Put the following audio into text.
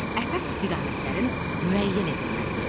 Əsas istiqamətlərin müəyyən edilməsi.